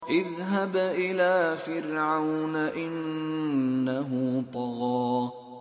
اذْهَبْ إِلَىٰ فِرْعَوْنَ إِنَّهُ طَغَىٰ